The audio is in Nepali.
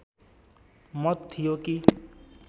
मत थियो कि